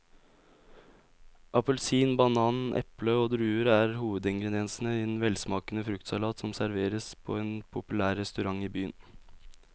Appelsin, banan, eple og druer er hovedingredienser i en velsmakende fruktsalat som serveres på en populær restaurant i byen.